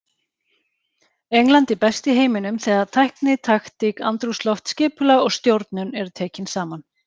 England er best í heiminum þegar tækni, taktík, andrúmsloft, skipulag og stjórnun eru tekin saman.